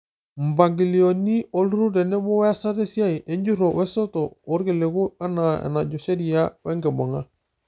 Mpangilio olturrur tenebo weasata esiai, enjurro, esosto oorkiliku anaa enajo sheria we nkibung'a.